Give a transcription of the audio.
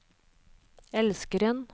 elskeren